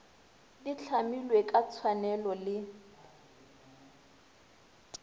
di hlamilwe ka tshwanelo le